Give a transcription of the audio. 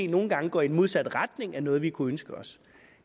nogle gange går i den modsatte retning af noget vi kunne ønske os